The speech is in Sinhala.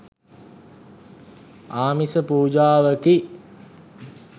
ආමිස පූජාවකි.